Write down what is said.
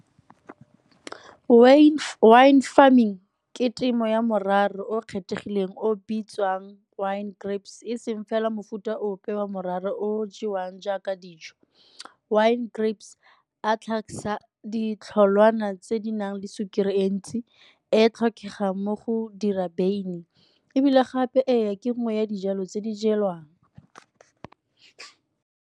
Wine farming ke temo ya o kgethegileng o bitswang wine grapes, e seng fela mofuta ope wa o jewang jaaka dijo. Wine grapes a ditlholwana tse di nang le sukiri e ntsi e e tlhokegang mo go dira beine, ebile gape ee, ke nngwe ya dijalo tse di jewang.